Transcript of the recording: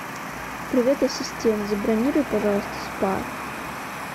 привет ассистент забронируй пожалуйста спа